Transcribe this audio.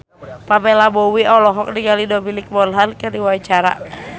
Pamela Bowie olohok ningali Dominic Monaghan keur diwawancara